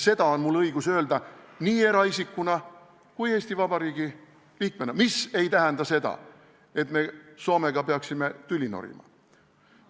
Seda on mul õigus öelda nii eraisikuna kui ka Eesti Vabariigi valitsuse liikmena, mis ei tähenda aga seda, et me peaksime Soomega tüli norima.